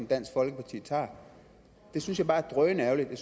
dansk folkeparti tager det synes jeg bare er drønærgerligt jeg